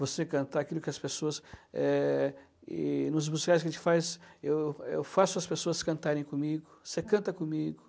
Você cantar aquilo que as pessoas eh e... Nos musicais que a gente faz, eu eu faço as pessoas cantarem comigo, você canta comigo.